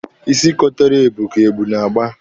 Isi kotara ebu ka ebu na-agba.